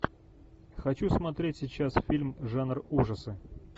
хочу смотреть сейчас фильм жанр ужасы